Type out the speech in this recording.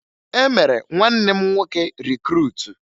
E mere nwanne m nwoke rikruutu